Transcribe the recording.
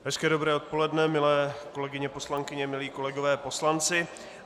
Hezké dobré odpoledne, milé kolegyně poslankyně, milí kolegové poslanci.